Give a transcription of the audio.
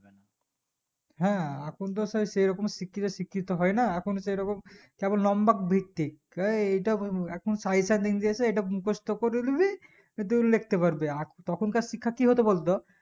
হ্যাঁ এখন তো সেই সেরকম শিক্ষিত শিক্ষিত হয় না এখন সেরকম কেবল nombok ভিত্তিক কেএইটা এখন sir এটার line দিয়েছে ইটা মুখস্ত করে লিবি টু লিখতে পারবি আর তখন কার শিক্ষা কি হতো বলতো